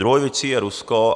Druhou věcí je Rusko.